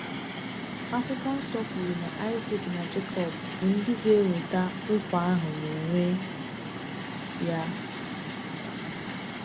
Akwụkwọ Nsọ kwuru na Isaac na Jekọb bụ ndị ga-enweta nkwa ahụ n’onwe ya.